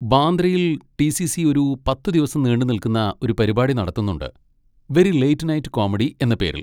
ബാന്ദ്രയിൽ T. C. C ഒരു പത്തുദിവസം നീണ്ടുനിൽക്കുന്ന ഒരു പരിപാടി നടത്തുന്നുണ്ട്, 'വെരി ലേറ്റ് നൈറ്റ് കോമഡി' എന്ന പേരിൽ.